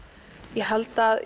ég held að